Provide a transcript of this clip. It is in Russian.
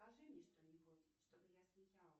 скажи мне что нибудь чтобы я смеялась